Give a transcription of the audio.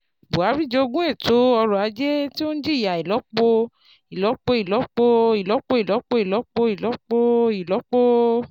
Buhari jogún ètò ọrọ̀ ajé tó ń jìyà ìlọ́po ìlọ́po ìlọ́po ìlọ́po ìlọ́po ìlọ́po ìlọ́po ìlọ́po